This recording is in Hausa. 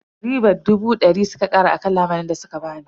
Ribar dubu dari suka kara a lamunin da suka bani.